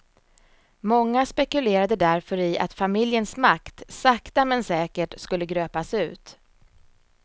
Många spekulerade därför i att familjens makt sakta med säkert skulle gröpas ut.